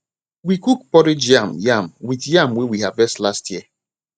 we cook porridge yam yam with yam wey we harvest last year